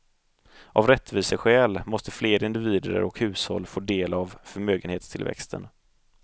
Av rättviseskäl måste fler individer och hushåll få del av förmögenhetstillväxten.